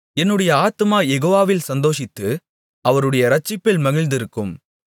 என்னுடைய ஆத்துமா யெகோவாவில் சந்தோஷித்து அவருடைய இரட்சிப்பில் மகிழ்ந்திருக்கும்